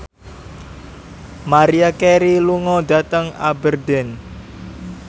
Maria Carey lunga dhateng Aberdeen